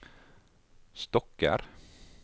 stokker